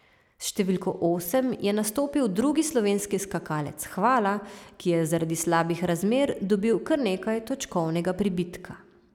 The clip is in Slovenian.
S številko osem je nastopil drugi slovenski skakalec Hvala, ki je zaradi slabih razmer dobil kar nekaj točkovnega pribitka.